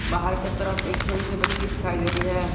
बाहर के तरफ एक छोटी सी बच्ची दिखाई दे रही है।